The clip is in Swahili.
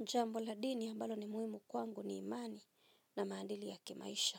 Jambo la dini ambalo ni muimu kwangu ni imani na maadili ya kimaisha.